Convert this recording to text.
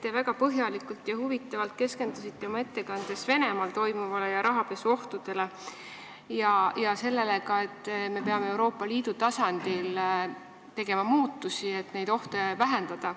Te väga põhjalikult ja huvitavalt keskendusite oma ettekandes Venemaal toimuvale ja rahapesu ohtudele ning ka sellele, et me peame Euroopa Liidu tasandil tegema muudatusi, et neid ohte vähendada.